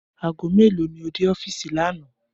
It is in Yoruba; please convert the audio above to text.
Aago mélòó ni o dé ó̩fíìsì lánàá